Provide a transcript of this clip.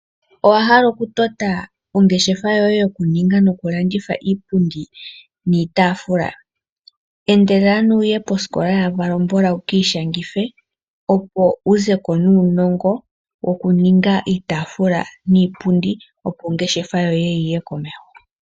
Owa hala okutota ongeshefa yoye yokuninga nokulanditha iipundi niitafula? Endelela ano wu ye posikola yaValombola wu ki ishangithe opo wu ze ko nuunongo wokuninga iitafula niipundi opo ongeshefa yoye yiye komeho.